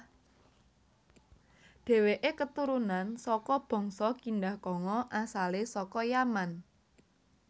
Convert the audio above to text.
Déwèké keturunan saka bangsa Kindah kanga asalé saka Yaman